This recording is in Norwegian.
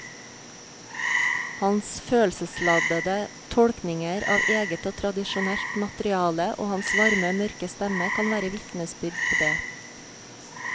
Hans følelsesladde tolkninger av eget og tradisjonelt materiale og hans varme mørke stemme kan være vitnesbyrd på det.